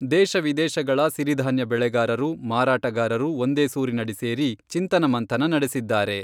ದೇಶ ವಿದೇಶಗಳ ಸಿರಿಧಾನ್ಯ ಬೆಳೆಗಾರರು, ಮಾರಾಟಗಾರರು ಒಂದೇ ಸೂರಿನಡಿ ಸೇರಿ ಚಿಂತನ ಮಂಥನ ನಡೆಸಿದ್ದಾರೆ.